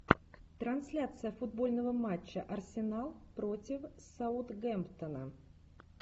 трансляция футбольного матча арсенал против саутгемптона